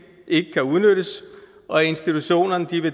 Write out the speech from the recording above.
ikke kan udnyttes og institutionerne